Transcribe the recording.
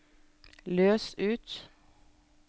løs ut